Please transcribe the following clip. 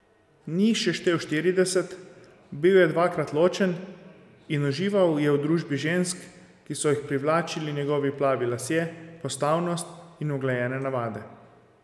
Ni jih še štel štirideset, bil je dvakrat ločen in užival je v družbi žensk, ki so jih privlačili njegovi plavi lasje, postavnost in uglajene navade.